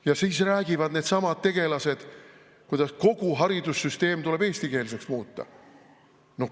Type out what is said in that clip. Ja siis räägivad needsamad tegelased, kuidas kogu haridussüsteem tuleb eestikeelseks muuta.